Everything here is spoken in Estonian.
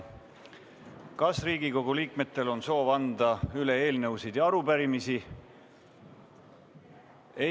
Kas Riigikogu liikmetel on soov anda üle eelnõusid ja arupärimisi?